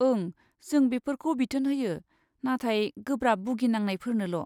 ओं, जों बेफोरखौ बिथोन होयो, नाथाय गोब्राब बुगिनांनायफोरनोल'।